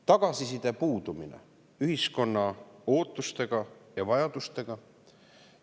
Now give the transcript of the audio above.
Tagasiside puudumine, ühiskonna ootustega ja vajadustega.